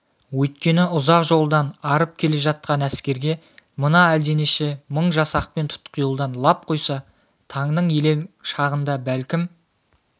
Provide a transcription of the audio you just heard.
өйткені ұзақ жолдан арып келе жатқан әскерге мына әлденеше мың жасақпен тұтқиылдан лап қойса таңның елең шағында бәлкім